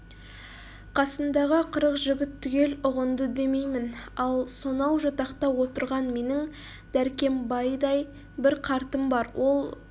қасындағы қырық жігіт түгел ұғынды демеймін ал сонау жатақта отырған менің дәркембайдай бір қартым бар ол